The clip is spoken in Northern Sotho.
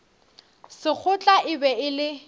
sekgotla e be e le